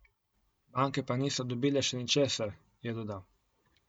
Banke pa niso dobile še ničesar, je dodal.